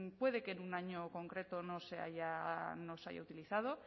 puede que en un año concreto no se haya utilizado